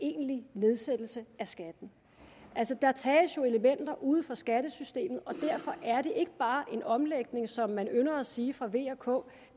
egentlig nedsættelse af skatten der tages jo elementer ude fra skattesystemet og derfor er det ikke bare en omlægning som man ynder at sige fra v og ks